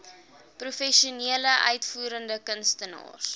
professionele uitvoerende kunstenaars